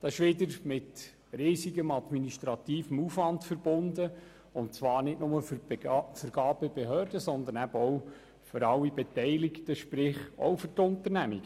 Dies ist wiederum mit enormem administrativem Aufwand verbunden und zwar nicht nur für die Vergabebehörde, sondern ebenfalls für alle Beteiligten, sprich auch für die Unternehmungen.